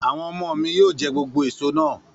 Àwọn ọmọ mi yóò jẹ gbogbo èso náà.